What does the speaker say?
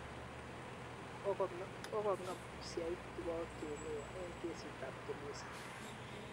Kogong'em usyahiti watuhumiwa eng kesiit ab Tulisa